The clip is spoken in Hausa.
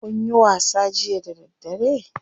Kunyi wasa jiya da daddare?